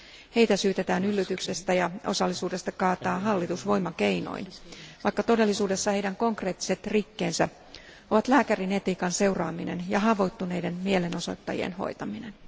Heitä syytetään yllytyksestä ja osallisuudesta hallituksen kaatamiseen voimakeinoin, vaikka todellisuudessa heidän konkreettiset rikkeensä ovat lääkärin etiikan seuraaminen ja haavoittuneiden mielenosoittajien hoitaminen.